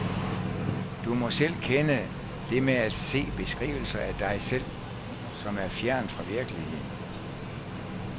Du må selv kende det med at se beskrivelser af dig selv, som er fjernt fra virkeligheden.